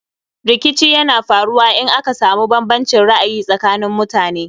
Rikici yana faruwa in aka samu bambancin ra'ayi tsakanin mutane